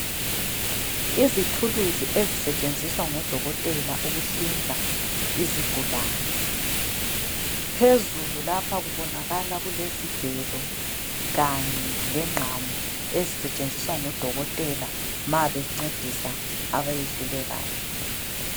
Izithuluzi ezisetshenziswa ngodokotela ukuhlinza izigulane. Phezulu lapha kubonakala kulezigelo kanye lengqamu ezisetshenziswa ngodokotela ma bencedisa abayehlulekayo.